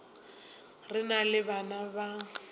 re na le bana ba